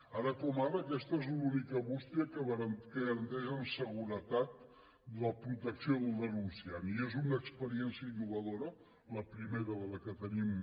ara com ara aquesta és l’única bústia que garanteix amb seguretat la protecció del denunciant i és una experiència innovadora la primera de la que tenim